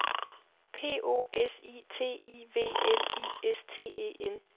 P O S I T I V L I S T E N